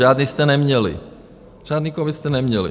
Žádný jste neměli, žádný covid jste neměli.